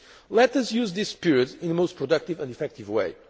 focus. Let us use this period in the most productive and effective